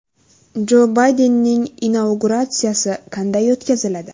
Jo Baydenning inauguratsiyasi qanday o‘tkaziladi?